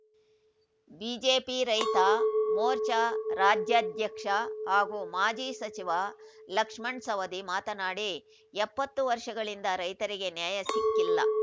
BJP ರೈತ ಮೋರ್ಚಾ ರಾಜ್ಯಾಧ್ಯಕ್ಷ ಹಾಗೂ ಮಾಜಿ ಸಚಿವ ಲಕ್ಷ್ಮಣ್‌ಸವದಿ ಮಾತನಾಡಿ ಎಪ್ಪತ್ತು ವರ್ಷಗಳಿಂದ ರೈತರಿಗೆ ನ್ಯಾಯ ಸಿಕ್ಕಿಲ್ಲ